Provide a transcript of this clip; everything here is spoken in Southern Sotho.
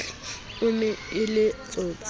e ne e le tsotsi